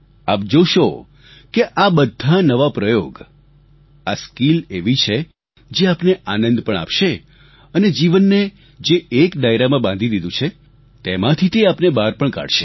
આપ જોશો કે આ બધા નવા પ્રયોગ આ સ્કીલ એવી છે જે આપને આનંદ પણ આપશે અને જીવનને જે એક દાયરામાં બાંધી દીધું છે જેમાંથી તે આપને બહાર પણ કાઢશે